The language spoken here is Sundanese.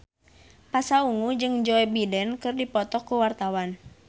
Pasha Ungu jeung Joe Biden keur dipoto ku wartawan